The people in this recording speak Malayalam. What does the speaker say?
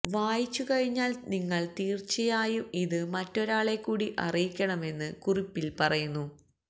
വായിച്ചു കഴിഞ്ഞാല് നിങ്ങള് തീര്ച്ചയയായും ഇത് മറ്റൊരാളെക്കൂടി അറിയിക്കണമെന്ന് കുറിപ്പില് പറയുന്നു